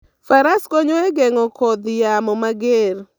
Faras konyo e geng'o kodh yamo mager.